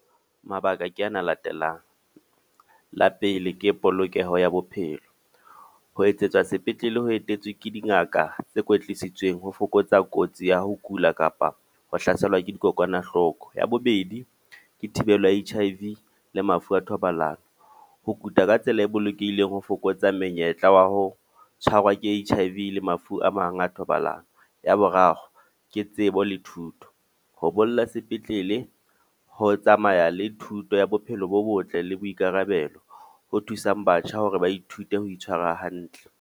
Mabaka ke ana a latelang. La pele ke polokeho ya bophelo. Ho etsetswa sepetlele ho etetswe ke dingaka tse kwetisitsweng ho fokotsa kotsi ya ho kula kapa ho hlaselwa ke dikokwanahloko. Ya bobedi, ke thibelo ya H_I_V le mafu a thobalano. Ho kuta ka tsela e bolokehileng ho fokotsa menyetla wa ho tshwarwa ke H_I_V le mafu a mang a thobalano. Ya boraro, ke tsebo le thuto. Ho bolla sepetlele ho tsamaya le thuto ya bophelo bo botle le boikarabelo, ho thusang batjha hore ba ithute ho itshwara hantle.